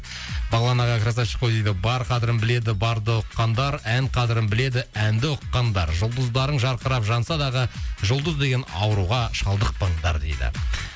бағлан аға красавчик қой дейді бар қадірін біледі барды ұққандар ән қадірін біледі әнді ұққандар жұлдыздарың жарқырап жансадағы жұлдыз деген ауруға шалдықпаңдар дейді